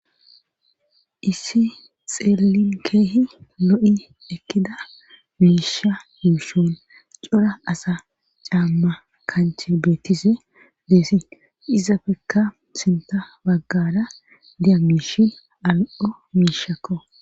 issi xeelin keehi lo7i ekkida miisha yuushon cora asa caamma kanche beettise deesi izafekka sinta baggada diya miishin al7o miishakko